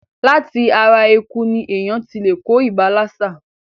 Láti ara eku ní èèyàn ti lè kó ibà lásà.